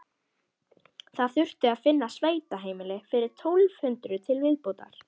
Það þurfti að finna sveitaheimili fyrir tólf hundruð til viðbótar.